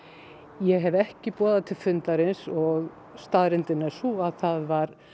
ég hef ekki boðað til fundarins og staðreyndin er sú að það var